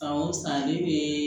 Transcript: San o san ne bɛ